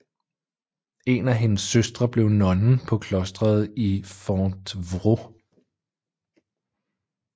En af hendes søstre blev nonne på klostret i Fontevrault